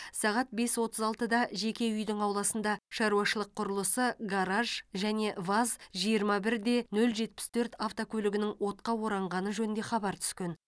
сағат бес отыз алтыда жеке үйдің ауласында шаруашылық құрылысы гараж және ваз жиырма бір де нөл жетпіс төрт автокөлігінің отқа оранғаны жөнінде хабар түскен